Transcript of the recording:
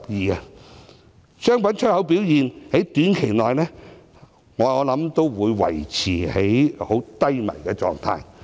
相信商品出口表現在短期內，都會維持在低迷狀態。